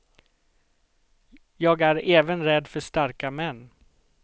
Jag är även rädd för starka män.